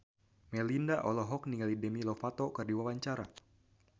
Melinda olohok ningali Demi Lovato keur diwawancara